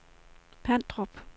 Pandrup